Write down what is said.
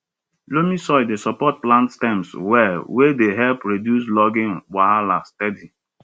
loamy soil dey support plant stems well wey dey help reduce lodging wahala steady